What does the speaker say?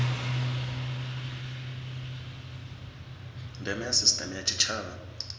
ndeme ya sisiteme ya tshitshavha